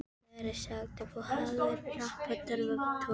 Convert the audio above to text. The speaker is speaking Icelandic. Mér er sagt að þú hafir nappað fartölvu